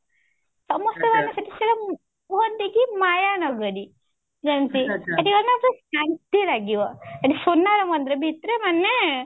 ସମସ୍ତେ ମାନେ ସେଠି କୁହନ୍ତି କି ମାୟା ନଗରୀ କୁହନ୍ତି ସେଠି ମାନେ ଶାନ୍ତି ଲାଗିବ ସେଠି ସୁନାର ମନ୍ଦିର ଭିତରେ ମାନେ